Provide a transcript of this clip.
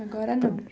Agora não.